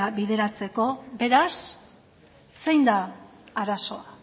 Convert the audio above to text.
bideratzeko beraz zein da arazoa